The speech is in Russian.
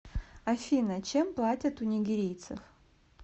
афина чем платят у нигерийцев